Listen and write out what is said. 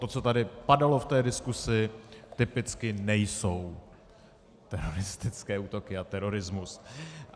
To, co tady padalo v té diskusi, typicky nejsou teroristické útoky a terorismus.